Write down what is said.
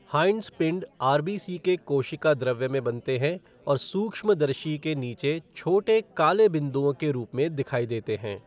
हाइंट्स पिंड आरबीसी के कोशिका द्रव्य में बनते हैं और सूक्ष्मदर्शी के नीचे छोटे काले बिंदुओं के रूप में दिखाई देते हैं।